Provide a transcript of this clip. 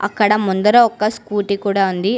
అక్కడ ముందర ఒక స్కూటీ కూడ ఉంది.